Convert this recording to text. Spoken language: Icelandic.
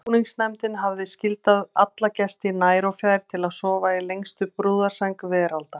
Undirbúningsnefndin hefði skyldað alla gesti nær og fjær til að sofa í lengstu brúðarsæng veraldar.